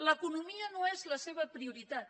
l’economia no és la seva prioritat